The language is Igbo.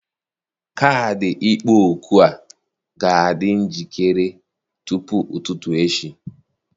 Kaadị ịkpọ òkù a ga-adị njikere tupu ụtụtụ echi.